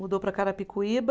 Mudou para Carapicuíba.